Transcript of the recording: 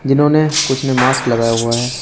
इन्होंने कुछ ने मास्क लगाया हुआ है।